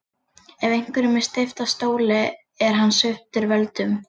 Ef einhverjum er steypt af stóli er hann sviptur völdum.